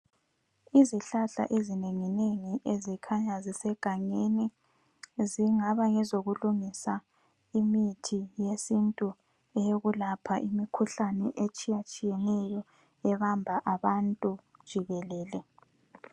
Izihlahla ezinengi nengi ezikhanya zise gangeni zingabe ngezokulungisa imithi yesintu eyokulapha imikhuhlane etshiya tshiyeneyo ebamba abantu jikelele.